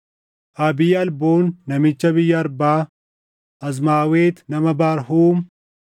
Abii-Alboon namicha biyya Arbaa, Azmaawet nama Barhuum,